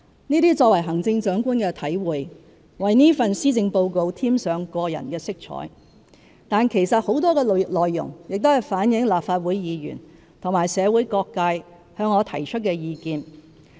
這些作為行政長官的體會，為這份施政報告添上個人色彩，但其實很多內容亦是反映立法會議員和社會各界向我提出的意見。